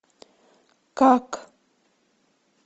как